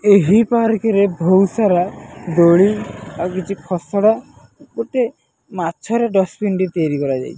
ଏହି ପାର୍କ ରେ ବହୁତ ସାରା ଦୋଳି ଆଉ କିଛି ଖସଡ଼ା ଗୋଟେ ମାଛ ର ଡଷ୍ଟପିନ ଟି ତିଆରି କରାଯାଇ --